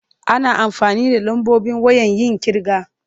Ana amfani da lambobi wayen yin ƙirga.